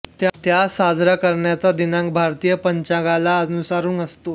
त्या साजरा करण्याचा दिनांक भारतीय पंचांगाला अनुसरून असतो